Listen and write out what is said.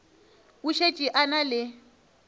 o šetše a na le